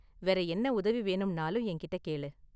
வேற என்ன உதவி வேணும்னாலும் என்கிட்ட கேளு.